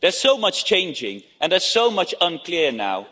There's so much changing and there's so much unclear now.